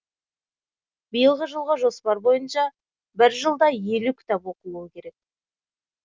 биылғы жылғы жоспар бойынша бір жылда елу кітап оқылуы керек